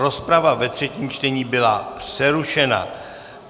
Rozprava ve třetím čtení byla přerušena.